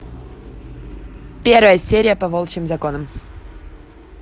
первая серия по волчьим законам